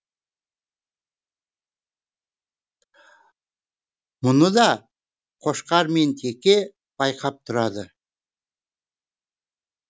мұны да қошқар мен теке байқап тұрады